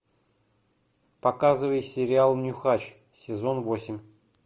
показывай сериал нюхач сезон восемь